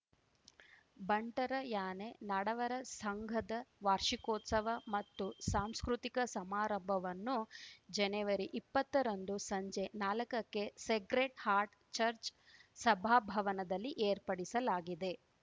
ಬಂಟರ ಯಾನೆ ನಡವರ ಸಂಘದ ವಾರ್ಷಿಕೋತ್ಸವ ಮತ್ತು ಸಾಂಸ್ಕೃತಿಕ ಸಮಾರಂಭವನ್ನು ಜನವರಿಇಪ್ಪತ್ತರಂದು ಸಂಜೆ ನಾಲಕಕ್ಕೆ ಸೇಕ್ರೆಡ್‌ ಹಾರ್ಟ್‌ ಚರ್ಚ್ ಸಭಾಭವನದಲ್ಲಿ ಏರ್ಪಡಿಸಲಾಗಿದೆ